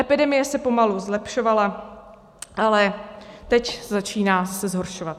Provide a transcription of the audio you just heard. Epidemie se pomalu zlepšovala, ale teď se začíná zhoršovat.